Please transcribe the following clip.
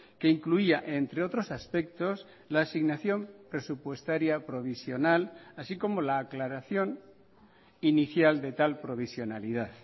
que incluía entre otros aspectos la asignación presupuestaria provisional así como la aclaración inicial de tal provisionalidad